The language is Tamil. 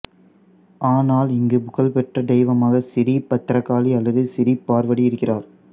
ஆனால் இங்கு புகழ்பெற்ற தெய்வமாக சிறீ பத்ரகாளி அல்லது சிறீபார்வதி இருகிறார்